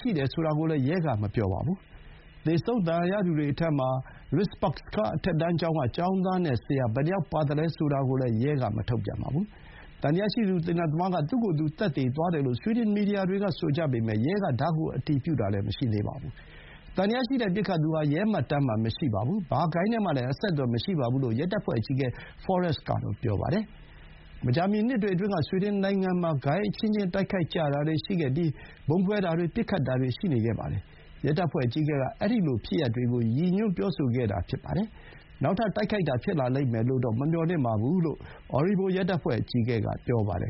ဖြစ်တယ်ဆိုတာကိုလည်း ရဲက မပြောပါဘူး။ သေဆုံး ဒဏ်ရာရသူတွေထဲမှာ Risbergska အထက်တန်းကျောင်းက ကျောင်းသားနဲ့ ဆရာ ဘယ်နှယောက်ပါသလဲ ဆိုတာကိုလည်း ရဲက မထုတ်ပြန်သေးပါဘူး။ သံသယရှိသူ သေနတ်သမားက သူ့ကိုယ်သူ သတ်သေသွားတယ်လို့ ဆွီဒင် မီဒီယာတွေက ဆိုကြပေမဲ့ ရဲက ဒါကို အတည်ပြုတာ မရှိသေးပါဘူး။ သံသယရှိတဲ့ ပစ်ခတ်သူဟာ ရဲမှတ်တမ်းမှာ မရှိပါဘူး။ ဘာဂိုဏ်းနဲ့မှလည်း အဆက်အသွယ်မရှိပါဘူးလို့ ရဲတပ်ဖွဲ့အကြီးအကဲ Forest က ပြောပါတယ်။ မကြာမီ နှစ်တွေအတွင်းက ဆွီဒင်နိုင်ငံမှာ ဂိုဏ်းအချင်းချင်း တိုက်ခိုက်ကြတာတွေရှိပြီး ဗုံးခွဲတာတွေ၊ ပစ်ခတ်တာတွေ ရှိခဲ့ပါတယ်။ ရဲတပ်ဖွဲ့အကြီးအကဲက အဲဒီလိုဖြစ်ရပ်တွေကို ရည်ညွှန်းပြောဆိုခဲ့တာပါ။ နောက်ထပ် တိုက်ခိုက်တာ ဖြစ်လာလိမ့်မယ်လို့တော့ မမျှော်လင့်ပါဘူးလို့ Orebro ရဲတပ်ဖွဲ့ အကြီးအကဲက ပြောပါတယ်